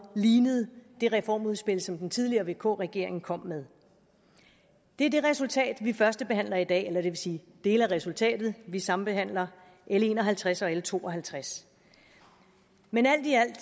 lignede det reformudspil som den tidligere vk regering kom med det er det resultat vi førstebehandler i dag eller det vil sige dele af resultatet vi sambehandler l en og halvtreds og l to og halvtreds men alt i alt